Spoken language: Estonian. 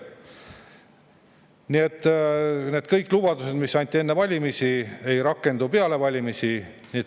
Nii et kõik need lubadused, mis anti enne valimisi, ei rakendu peale valimisi.